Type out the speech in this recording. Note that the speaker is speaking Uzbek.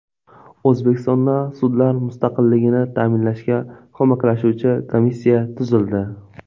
O‘zbekistonda sudlar mustaqilligini ta’minlashga ko‘maklashuvchi komissiya tuzildi.